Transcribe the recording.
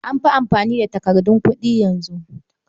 An fi amfani da takardun kuɗi yanzu